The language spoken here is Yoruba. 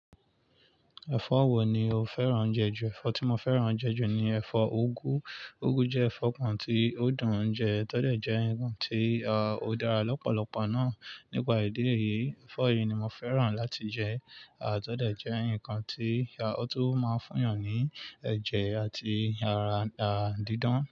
Ẹ̀fọ́ wo ni o fẹ́ràn jẹ ju? Ẹ̀fọ́ tí mo fẹ́ràn jẹ ju ni ẹ̀fọ́ úgú. Úgú jẹ́ ẹ̀fọ́ kan tí ó dùn ń jẹ, tọ́dẹ̀ jẹ́ ǹkan tí ó dára lọ́pọ̀lọpọ̀ náà. Nípa ìdí èyí, ẹ̀fọ́ yìí ni mo fẹ́ràn láti jẹ, à tọ́ dẹ̀ jẹ́ ǹkan tí ó tún máa ń fún eeyan ní ẹ̀jẹ̀ àti ara à dídán.